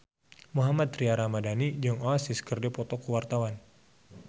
Mohammad Tria Ramadhani jeung Oasis keur dipoto ku wartawan